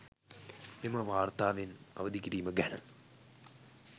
මෙම වාර්තාවෙන් අවදිකිරීම ගැන